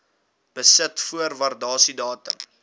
besit voor waardasiedatum